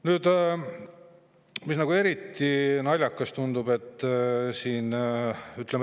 Nüüd, mis eriti tundub.